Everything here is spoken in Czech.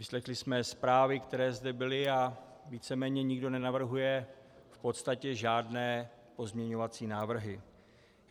Vyslechli jsme zprávy, které zde byly, a víceméně nikdo nenavrhuje v podstatě žádné pozměňovací návrhy.